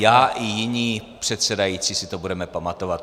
Já i jiní předsedající si to budeme pamatovat.